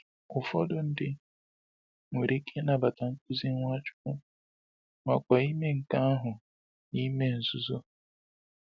Ụfọdụ ndị nwere ike ịnabata nkuzi Nwachukwu, makwa ime nke ahụ n’ime nzuzo.